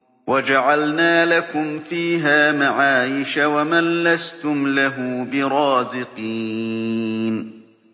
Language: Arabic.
وَجَعَلْنَا لَكُمْ فِيهَا مَعَايِشَ وَمَن لَّسْتُمْ لَهُ بِرَازِقِينَ